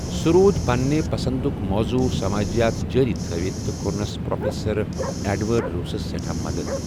سوٗ روُد پنٛنہِ پَسنٛدٗك موضوٗع ، سمٲجِیات جٲری تھوِتھ تہٕ كورنس پرٛوفیسر ایٚڈوٲرڈ روسس سٮ۪ٹھا مَدتھ ۔